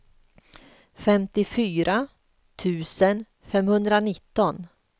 femtiofyra tusen femhundranitton